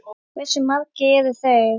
Hversu margir eru þeir?